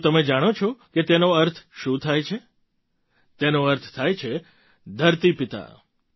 શું તમે જાણો છો કે તેનો અર્થ શું થાય છે તેનો અર્થ છે ધરતી પિતા